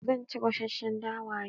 Zan ci gasasshen dawa yau.